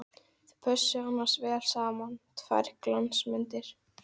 Þau pössuðu annars vel saman, tvær glansmyndir!